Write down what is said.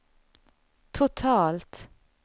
totalt